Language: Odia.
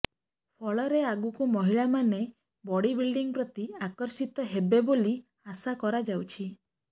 ଫଳରେ ଆଗକୁ ମହିଳାମାନେ ବଡ଼ିବିଲଡ଼ିଂ ପ୍ରତି ଆକର୍ଷିତ ହେବେ ବୋଲି ଆଶା କରାଯାଉଛି